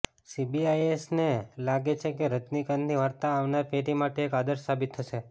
સીબીએસઈને લાગે છે કે રજનીકાંતની વાર્તા આવનાર પેઢી માટે એક આદર્શ સાબિત થશે